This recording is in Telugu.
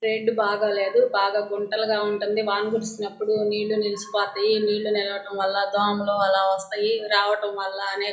రోడ్డు బాగాలేదు. బాగా గుంటలుగా ఉంటుంది. వాన కురిసినపుడు నీళ్ళు నిలిసిపోతాయి. నీళ్ళు నిలిసి పోవటం వల్ల దోమలు అలా వస్తాయి. రావటం వల్ల--